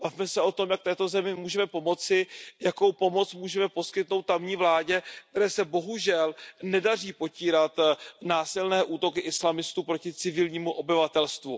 Bavme se o tom, jak této zemi můžeme pomoci, jakou pomoc můžeme poskytnout tamní vládě, které se bohužel nedaří potírat násilné útoky islamistů proti civilnímu obyvatelstvu.